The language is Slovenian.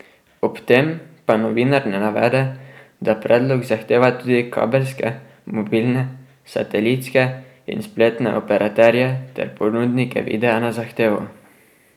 Ob tem pa novinar ne navede, da predlog zadeva tudi kabelske, mobilne, satelitske in spletne operaterje ter ponudnike videa na zahtevo.